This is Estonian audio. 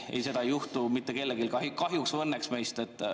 Ei, seda ei juhtu mitte kellegagi meist, kahjuks või õnneks.